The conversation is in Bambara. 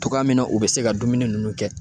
Togoya min na u be se ka dumuni nunnu kɛ.